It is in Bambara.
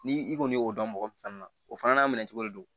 Ni i kɔni y'o dɔn mɔgɔ min fana na o fana n'a minɛ cogo de don